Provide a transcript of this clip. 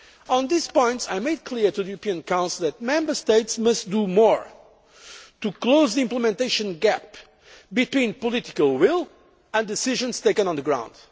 On these points, I made clear to the European Council that Member States must do more to close the implementation gap between political will and decisions taken on the